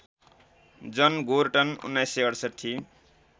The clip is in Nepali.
जन गोर्टन १९६८